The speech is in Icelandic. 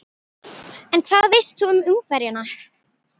En hvað veist þú um Ungverjana?